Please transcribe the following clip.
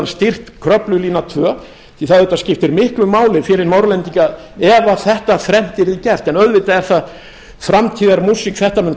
styrkt kröflulína tvö því það auðvitað skiptir miklu máli fyrir norðlendinga ef þetta þrennt yrði gert en auðvitað er það framtíðarmúsík þetta mun